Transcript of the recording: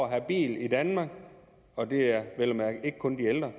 at have bil i danmark og det er vel at mærke ikke kun de ældre